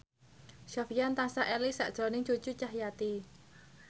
Sofyan tansah eling sakjroning Cucu Cahyati